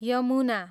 Yamuna